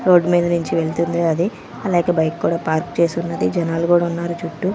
Road మీద నుంచి వెళ్తుంది అది అలాగే బైక్ కూడా పార్క్ చేసి ఉన్నది జనాలు కూడా ఉన్నారు చుట్టూ.